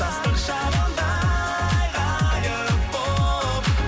жастық шағымдай ғайып болып